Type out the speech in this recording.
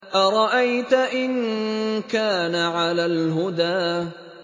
أَرَأَيْتَ إِن كَانَ عَلَى الْهُدَىٰ